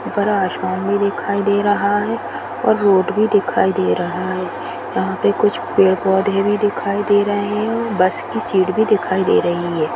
बड़ा आसमान भी दिखाई दे रहा है और रोड भी दिखाई दे रहा है यहां पर कुछ पेड़-पौधे भी दिखाई दे रहे है बस की शीट भी दिखाई दे रही है।